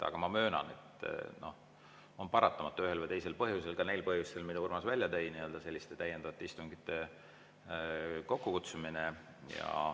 Aga ma möönan, et on paratamatu ühel või teisel põhjusel, ka neil põhjustel, mida Urmas välja tõi, selliste täiendavate istungite kokkukutsumine.